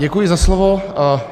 Děkuji za slovo.